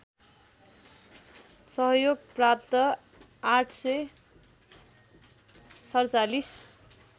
सहयोग प्राप्त ८४७